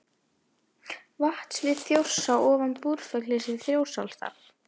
Vatnasvið Þjórsár ofan Búrfells í Þjórsárdal.